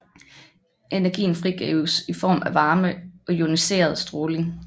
Energien frigives i form af varme og ioniserende stråling